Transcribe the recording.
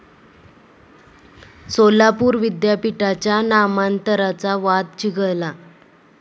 सोलापूर विद्यापीठाच्या नामांतराचा वाद चिघळला